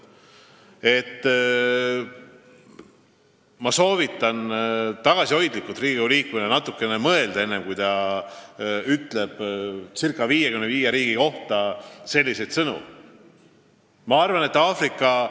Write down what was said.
Ma soovitan tagasihoidlikult teil kui Riigikogu liikmel natuke mõelda enne, kui te ca 55 riigi kohta selliseid väljendeid kasutate.